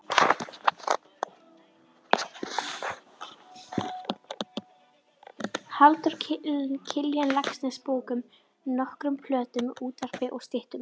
Halldór Kiljan Laxness bókum, nokkrum plöntum, útvarpi og styttum.